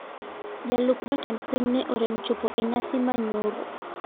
Jalup jatend piny ne orem chopo e nyasi manyoro